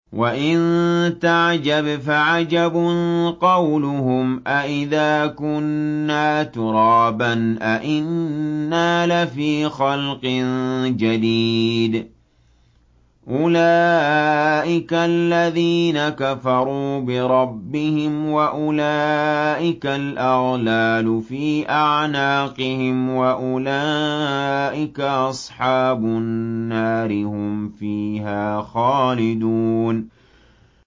۞ وَإِن تَعْجَبْ فَعَجَبٌ قَوْلُهُمْ أَإِذَا كُنَّا تُرَابًا أَإِنَّا لَفِي خَلْقٍ جَدِيدٍ ۗ أُولَٰئِكَ الَّذِينَ كَفَرُوا بِرَبِّهِمْ ۖ وَأُولَٰئِكَ الْأَغْلَالُ فِي أَعْنَاقِهِمْ ۖ وَأُولَٰئِكَ أَصْحَابُ النَّارِ ۖ هُمْ فِيهَا خَالِدُونَ